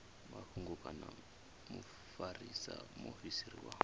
mafhungo kana mufarisa muofisiri wa